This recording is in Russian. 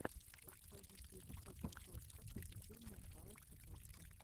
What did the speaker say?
пазитив копл точка позитивная парочка точка